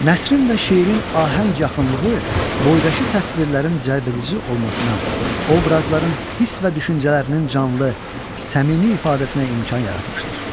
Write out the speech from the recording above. Nəsrin və şeirin ahəng yaxınlığı boydakı təsvirlərin cəlbedici olmasına, obrazların hiss və düşüncələrinin canlı, səmimi ifadəsinə imkan yaratmışdır.